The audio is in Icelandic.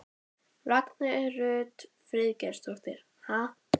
Guðný Helga Herbertsdóttir: Hversu há er þessi krafa?